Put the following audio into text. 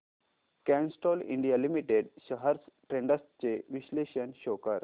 Castrol India limited shares trends चे विश्लेषण show कर